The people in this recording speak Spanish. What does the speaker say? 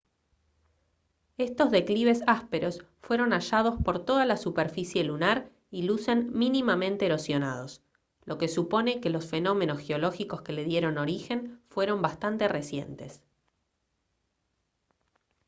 estos declives ásperos fueron hallados por toda la superficie lunar y lucen mínimamente erosionados lo que supone que los fenómenos geológicos que le dieron origen fueron bastante recientes